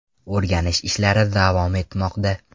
O‘rganish ishlari davom etmoqda.